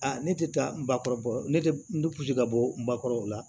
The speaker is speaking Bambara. Aa ne tɛ taa bakɔrɔ ne tɛ n tɛ kulusi ka bɔ n bakɔrɔ o la